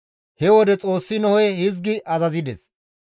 He wode Xoossi Nohe hizgi azazides,